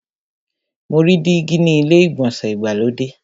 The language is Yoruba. Mo rí dígí ni ilé ìgbọ̀nsẹ̀ ìgbàlódé.